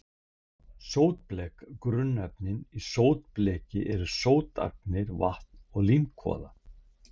Sótblek Grunnefnin í sótbleki eru sótagnir, vatn og límkvoða.